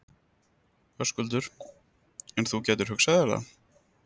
Höskuldur:. en þú gætir hugsað þér það?